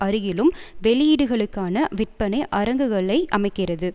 அருகிலும் வெளியீடுகளுக்கான விற்பனை அரங்குகளை அமைக்கிறது